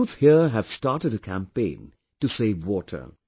The youth here have started a campaign to save water